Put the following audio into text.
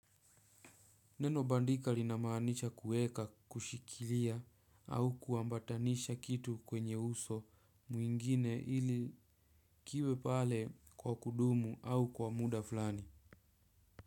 Neno bandika linamanisha kuweka, kushikilia au kuambatanisha kitu kwenye uso mwingine ili kiwe pale kwa kudumu au kwa muda fulani.